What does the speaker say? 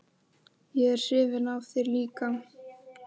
Ég er hrifin af þér líka.